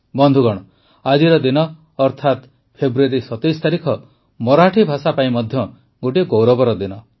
ବନ୍ଧୁଗଣ ଆଜିର ଦିନ ଅର୍ଥାତ୍ ଫେବୃୟାରୀ ୨୭ ତାରିଖ ମରାଠୀ ଭାଷା ପାଇଁ ମଧ୍ୟ ଗୋଟିଏ ଗୌରବର ଦିନ